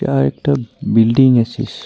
এটা আরেকটা বিল্ডিং আছিস .